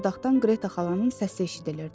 Çardaxdan Qreta xalanın səsi eşidilirdi.